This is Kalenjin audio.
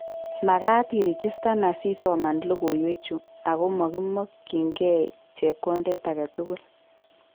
Magat iregistan asisoman logoiywek chuu ago mokimokyingei chepkondet agetugul